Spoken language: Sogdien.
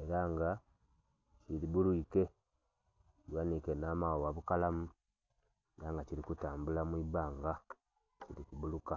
ela nga kibbulwiike kighaniike nh'amaghagha bukalamu, ela nga kili kutambula mu ibanga, kili kubbuluka.